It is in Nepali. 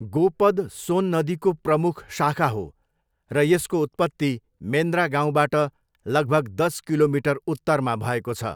गोपद सोन नदीको प्रमुख शाखा हो र यसको उत्पत्ति मेन्द्रा गाउँबाट लगभग दस किलोमिटर उत्तरमा भएको छ।